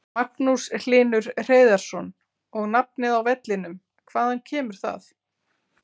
Magnús Hlynur Hreiðarsson: Og nafnið á vellinum, hvaðan kemur það?